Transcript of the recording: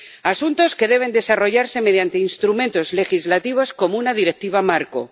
Asuntos que deben desarrollarse mediante instrumentos legislativos como una directiva marco.